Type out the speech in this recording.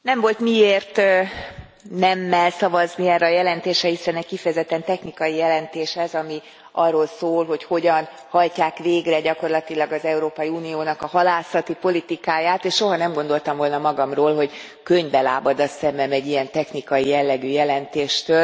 Elnök Asszony, nem volt miért nemmel szavazni erre a jelentésre, hiszen egy kifejezetten technikai jelentés ez, ami arról szól, hogy hogyan hajtják végre gyakorlatilag az Európai Uniónak a halászati politikáját, és soha nem gondoltam volna magamról, hogy könnybe lábad a szemem egy ilyen technikai jellegű jelentéstől.